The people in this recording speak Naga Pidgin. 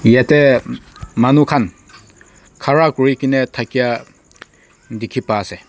yete manu kan ghara kuri kina dakia diki pa ase.